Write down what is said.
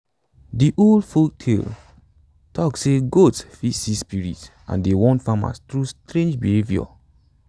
de old folktales talk say goats fit see spirits and dey warn farmers through strange behavior